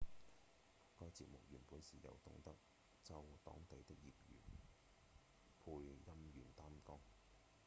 該節目原本是由東德州當地的業餘配音員擔綱